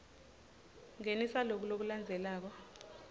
ngenisa loku lokulandzelako